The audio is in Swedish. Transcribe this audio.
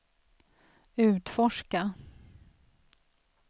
utforska